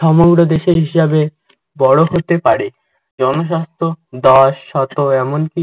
সমগ্র দেশের হিসাবে বড়ো হতে পারে। জনস্বাস্থ্য দশ শত এমনকি